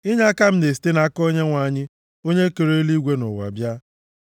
Inyeaka m na-esite nʼaka Onyenwe anyị, + 121:2 \+xt Abụ 124:8\+xt* onye kere eluigwe na ụwa bịa.